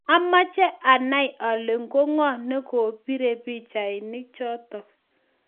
amache anai ale ko ngo ne kobirei pichainik chotok